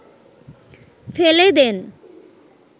ফেলে দেন